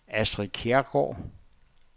Astrid Kjærgaard